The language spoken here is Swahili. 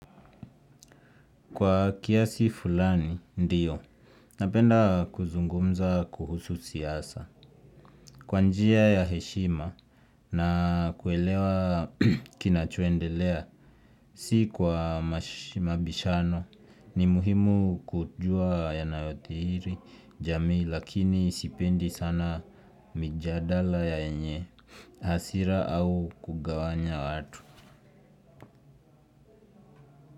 Kwa kiasi fulani, ndiyo. Napenda kuzungumza kuhusu siasa. Kwa njia ya heshima na kuelewa kinachoendelea, si kwa mabishano, ni muhimu kujua yanayothiri, jamii, lakini sipendi sana mijadala yenye hasira au kugawanya watu.